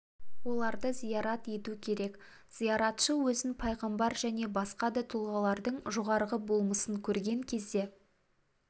оларды зиярат ету керек зияратшы өзін пайғамбар және басқа да тұлғалардың жоғарғы болмысын көрген кезде